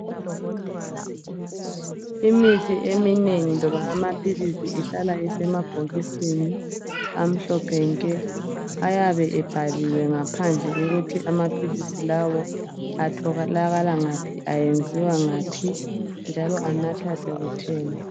Imithi eminengi loba amaphilisi ehlala isemabhokisini amhlophe nke ayabe ebhaliwe ngaphandle ukuthi amaphilisi lawo atholakala ngaphi ayenziwa ngaphi njalo anathwa sekutheni.